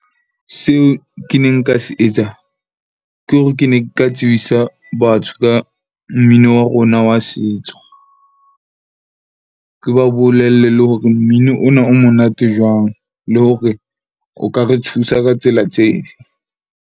Seo ke ne nka se etsa ke hore ke ne ke ka tsebisa batho ka mmino wa rona wa setso. Ke ba bolelle le hore mmino ona o monate jwang, le hore o ka re thusa ka tsela tse fe.